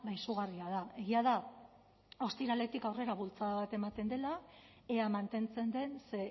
izugarria da egia da ostiraletik aurrera bultzada bat ematen dela ea mantentzen den ze